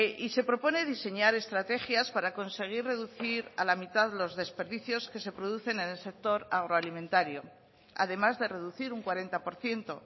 y se propone diseñar estrategias para conseguir reducir a la mitad los desperdicios que se producen en el sector agroalimentario además de reducir un cuarenta por ciento